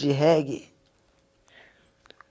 De reggae?